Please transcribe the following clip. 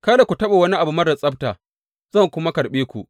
Kada ku taɓa wani abu marar tsabta, zan kuma karɓe ku.